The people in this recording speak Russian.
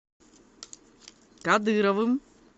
кадыровым